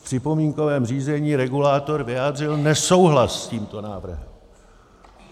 V připomínkovém řízení regulátor vyjádřil nesouhlas s tímto návrhem.